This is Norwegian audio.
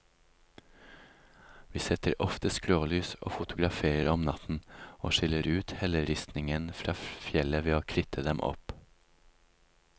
Vi setter ofte skrålys og fotograferer om natten, og skiller ut helleristningen fra fjellet ved å kritte dem opp.